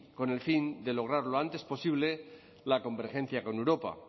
con el fin de lograr lo antes posible la convergencia con europa